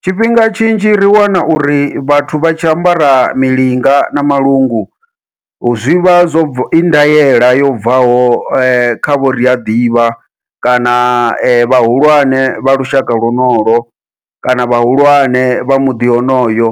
Tshifhinga tshinzhi ri wana uri vhathu vha tshi ambara milinga na malungu, zwivha zwo bva ivha I ndaela yo bvaho kha vho ndiaḓivha kana vhahulwane vha lushaka lwonolwo, kana vhahulwane vha muḓi wonoyo